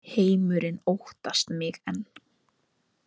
Heimurinn óttast mig enn